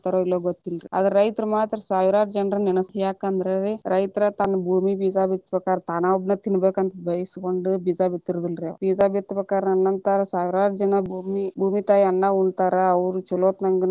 ಇಲ್ಲೊ ಗೊತ್ತಿಲ್ಲಾ ರೀ ರೈತರ ಮಾತ್ರ ಸಾವಿರಾರು ಜನಾನ್ನ ನೆನಸಿ, ಯಾಕಂದ್ರ ರೀ ರೈತರ ತನ್ನ ಭೂಮಿಗ ಬೀಜ ಬಿತ್ತಬೇಕಾದ್ರ ತಾನೊಬ್ಬನ ತಿನ್ನಬೇಕ ಅಂತ ಬಯಸಗೊಂಡ ಬೀಜ ಬಿತ್ತಿರುವುದಿಲ್ಲರೀ ಬೀಜ ಬಿತ್ತ ಬೇಕಾದ್ರ ನನ್ನ ಅಂತ ಸಾವಿರಾರು ಜನಾ ಭೂಮಿ ಭೂಮಿ ತಾಯಿ ಅನ್ನಾ ಉಣ್ತಾರ ಅವ್ರ ಚೊಲೋತಂಗ ನಂಗ.